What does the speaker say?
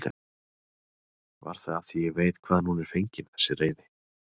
Var það af því ég veit hvaðan hún er fengin þessi reiði?